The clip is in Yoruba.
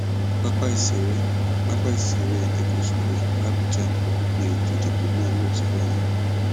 pápá ìṣeré pápá ìṣeré eagle square làbújá ni ètò ìdìbò náà yóò ti wáyé